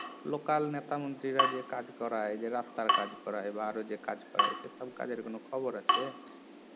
local নেতা মন্ত্রিরা যে কাজ করায় যে রাস্তার কাজ করায় আরও যে কাজ করায় সেসব কাজের কোনও খবর আছে